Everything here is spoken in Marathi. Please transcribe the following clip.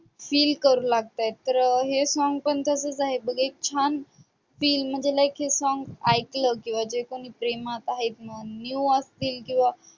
feel करू लागत आहेत. तर हे song पण तसंच आहे बघ एक छान feel म्हणजे like हे song ऐकलं किंवा जे कोणी प्रेमात आहेत म्हण, new असतील किंवा